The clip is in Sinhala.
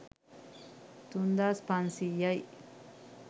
තුන්දාස් පන්සීයයි